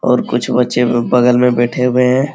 और कुछ बच्चे यहाँ बगल में बैठे हुए हैं।